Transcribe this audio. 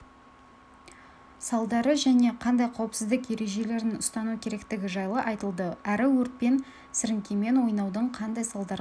салдары және қандай қауіпсіздік ережелерін ұстану керектігі жайлы айтылды әрі отпен сіріңкемен ойнаудың қандай салдарға